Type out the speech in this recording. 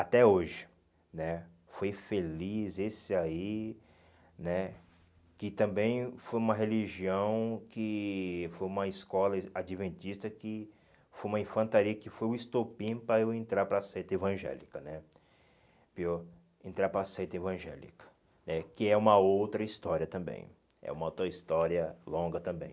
até hoje né, foi feliz esse aí né, que também foi uma religião, que foi uma escola adventista, que foi uma infantaria, que foi o estopim para eu entrar para a seita evangélica, né viu entrar para a seita evangélica né, que é uma outra história também, é uma outra história longa também.